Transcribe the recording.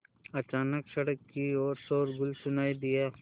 अचानक सड़क की ओर शोरगुल सुनाई दिया